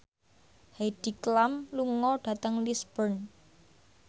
Heidi Klum lunga dhateng Lisburn